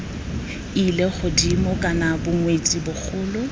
ile godimo kana bongwetsi bogolo